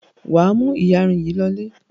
Wà á mú ìyarun yìí lọlé.